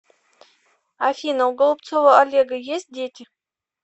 афина у голубцова олега есть дети